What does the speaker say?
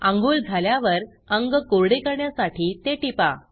आंघोळ झाल्यावर अंग कोरडे करण्यासाठी ते टिपा